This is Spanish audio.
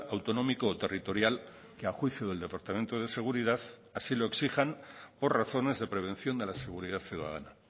autonómico o territorial que a juicio del departamento de seguridad así lo exijan por razones de prevención de la seguridad ciudadana